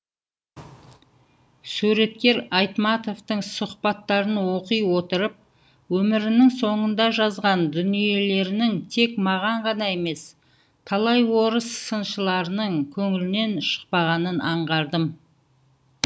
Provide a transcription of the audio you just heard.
суреткер айтматовтың сұхбаттарын оқи отырып өмірінің соңында жазған дүниелерінің тек маған ғана емес талай орыс сыншыларының көңілінен шықпағанын аңғардым